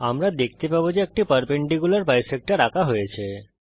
আমরা দেখতে পাবো যে একটি পারপেন্ডিকুলার বিসেক্টর আঁকা হয়েছে